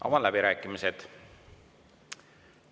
Avan läbirääkimised.